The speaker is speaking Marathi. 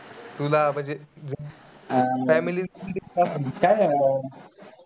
तुला म्हणजे family